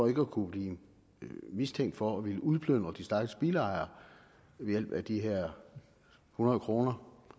at kunne blive mistænkt for at ville udplyndre de stakkels bilejere ved hjælp af de her hundrede kroner